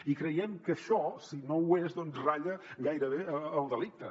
i creiem que això si no ho és ratlla gairebé el delicte